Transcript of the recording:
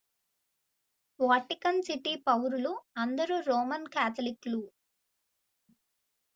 Vatican City పౌరులు అందరూ Roman కాథలిక్లు